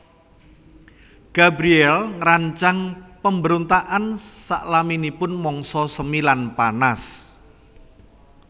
Gabriel ngrancang pambrontakan salaminipun mangsa semi lan panas